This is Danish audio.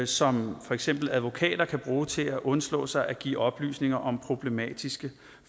som for eksempel advokater kan bruge til at undslå sig for at give oplysninger om problematiske